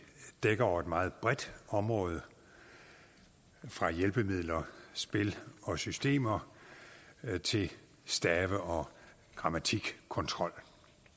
dækker over et meget bredt område fra hjælpemidler spil og systemer til stave og grammatikkontrol